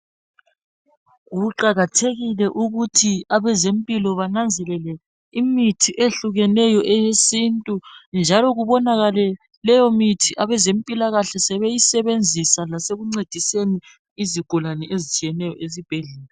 Kuqakathekile ukuthi abezempilo bananzelele imithi ehlukeneyo eyesintu njalo kubonakale leyo mithi abezimpilakahle sebeyisebenzisa lasekuncediseni izigulane ezitshiyeneyo esibhedlela.